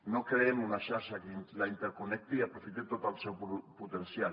no creem una xarxa que la interconnecti i aprofiti tot el seu potencial